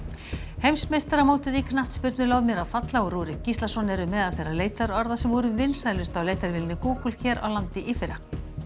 heimsmeistaramótið í knattspyrnu lof mér að falla og Rúrik Gíslason eru meðal þeirra leitarorða sem voru vinsælust á leitarvélinni Google hér á landi í fyrra